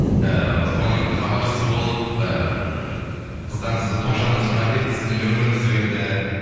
ыыы соны хабарсыз болып ыыы қыздан тоғжаннан сұрап едік сіздің нөміріңізді берді